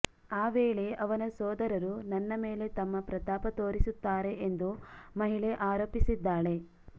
ಆ ವೇಳೆ ಅವನ ಸೋದರರು ನನ್ನ ಮೇಲೆ ತಮ್ಮ ಪ್ರತಾಪ ತೋರಿಸುತ್ತಾರೆ ಎಂದು ಮಹಿಳೆ ಆರೋಪಿಸಿದ್ದಾಳೆ